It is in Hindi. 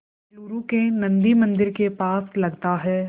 बेंगलूरू के नन्दी मंदिर के पास लगता है